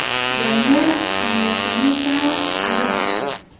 Jangga tenglashgani esa ayol kishi.